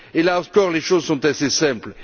Et là encore, les choses sont assez simples.